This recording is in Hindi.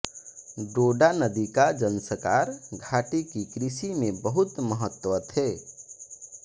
डोडा नदी का ज़ंस्कार घाटी की कृषि में बहुत महत्व है